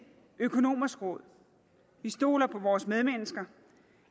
økonomers råd vi stoler på vores medmennesker